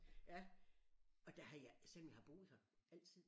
Ja og der har jeg selvom jeg har boet her altid